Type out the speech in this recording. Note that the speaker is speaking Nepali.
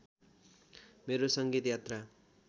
मेरो सङ्गीत यात्रा